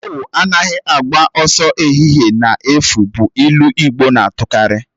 Awu anaghị agba ọsọ n'ehihie n'efu bụ ilu igbo na-atukarị